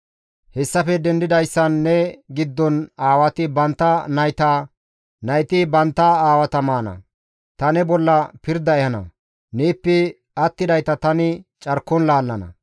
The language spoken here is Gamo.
Hessafe dendidayssan ne giddon aawati bantta nayta, nayti bantta aawata maana; ta ne bolla pirda ehana; neeppe attidayta tani carkon laallana.